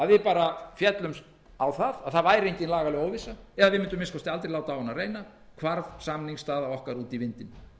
við féllumst á að það væri engin lagaleg óvissa eða við mundum að minnsta kosti aldrei láta á hana reyna